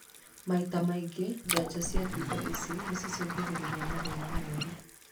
Maita marĩa maingĩ, njanjo cia thundo ici noicũngĩrĩrie mathĩna moru